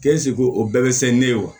o bɛɛ bɛ se ne ye wa